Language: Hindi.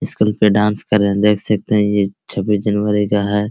स्कूल पे डांस कर रहे है देख सकते है ये छब्बीस जनवरी का है।